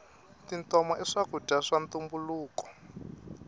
tintoma i swakudya swa ntumbuluko